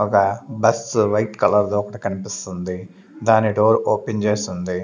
ఒగ bus white colour దొకటి కన్పిస్సుంది దాని డోర్ ఓపెన్ చేసుంది.